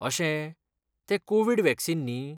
अशें, तें covid vaccine न्ही?